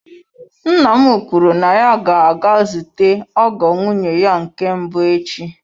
Nna m kwuru na ya ga-aga zute ọgọ nwunye ya nke mbụ echi.